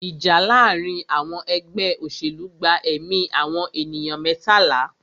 Ìjà láàárín àwọn ẹgbẹ́ òṣèlú gba ẹ̀mí àwọn ènìyàn mẹ́tàlá.